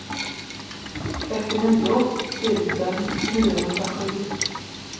trettionio tusen niohundrasju